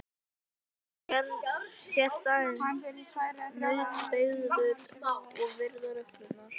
Þú sért aðeins nauðbeygður að virða reglurnar.